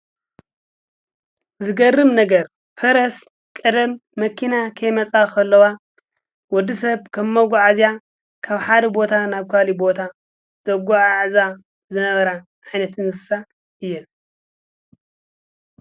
ዝገርም ነገር ፈረስ ቀደም መኪና ከይመፃ ከለዋ ወዲሰብ ከም መጋዓዝያ ካብ ሓደ ቦታ ናብ ካሊእ ቦታ ዘጓዓዕዛ ዝነበራ ዓይነት እንስሳ እየን ።